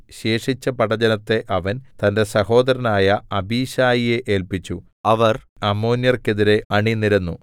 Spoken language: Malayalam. ശേഷിച്ച പടജ്ജനത്തെ അവൻ തന്റെ സഹോദരനായ അബീശായിയെ ഏല്പിച്ചു അവർ അമ്മോന്യർക്കെതിരെ അണിനിരന്നു